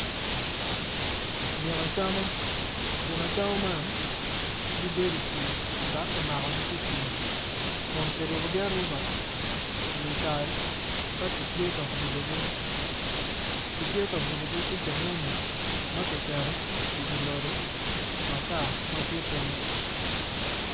Gin acama man gibedo i pii dok kimakogi ki i pii kun kirupugi arupa iwi tal ka kitye ka bulogi kitye ka bulogi ki cengenge ma kiketo iwi loti ma tye piny.